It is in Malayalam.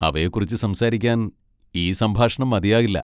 അവയെക്കുറിച്ച് സംസാരിക്കാൻ ഈ സംഭാഷണം മതിയാകില്ല.